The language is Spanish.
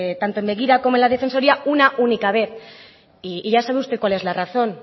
tanto en begira como en la defensoría una única vez y ya sabe usted cuál es la razón